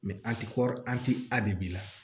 an ti kɔri an ti a bi b'i la